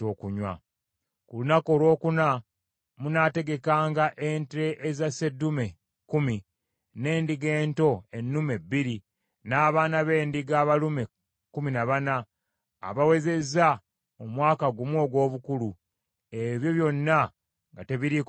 “Ku lunaku olwokuna munaategekanga ente eza sseddume kkumi, n’endiga ento ennume bbiri, n’abaana b’endiga abalume kkumi na bana abawezezza omwaka gumu ogw’obukulu; ebyo byonna nga tebiriiko kamogo.